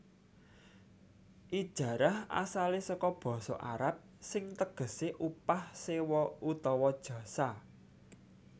Ijarah asalé saka basa Arab sing tegesé upah sewa utawa jasa